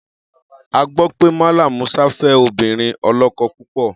A gbọ́ pé Mallam Musa fẹ́ obìnrin ọlọ́kọ púpọ̀.